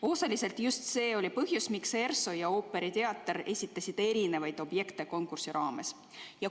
Osaliselt oli just see põhjus, miks ERSO ja ooperiteater esitasid konkursi raames erinevaid objekte.